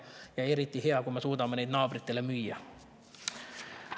Ja eriti hea on, kui me suudame neid naabritele müüa.